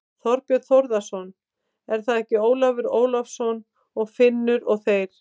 Þorbjörn Þórðarson: Er það ekki Ólafur Ólafsson og Finnur og þeir?